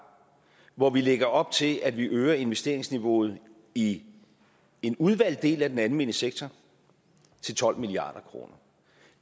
hvor vi lægger op til at vi øger investeringsniveauet i en udvalgt del af den almene sektor til tolv milliard kroner